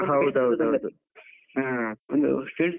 ಹೌದೌದೌದು .